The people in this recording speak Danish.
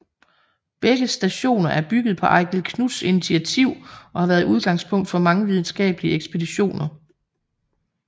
Begge stationer er bygget på Eigil Knuths initiativ og har været udgangspunkt for mange videnskabelige ekspeditioner